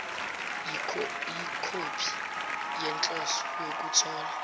yikhophi yenhloso yokuthola